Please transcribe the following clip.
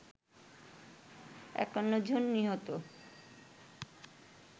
৫১ জন নিহত